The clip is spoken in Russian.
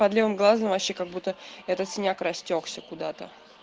под левым глазом вообще как-будто этот синяк растёкся куда-то